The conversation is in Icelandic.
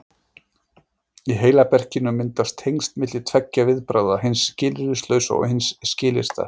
Í heilaberkinum myndast tengsl milli tveggja viðbragða, hins skilyrðislausa og hins skilyrta.